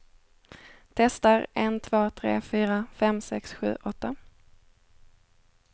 Testar en två tre fyra fem sex sju åtta.